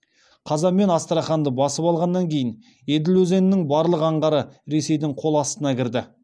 қазан мен астраханьды басып алғаннан кейін еділ өзенінің барлық аңғары ресейдің қол астына кірді